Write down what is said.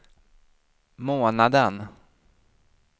månaden